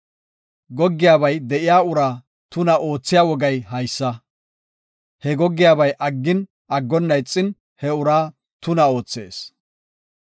Goggiyabay de7iya uraa tuna oothiya wogay haysa; he goggiyabay aggin, aggonna ixin, he uraa tuna oothees.